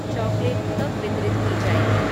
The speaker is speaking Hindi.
चॉकलेट कब वितरित की जाएगी?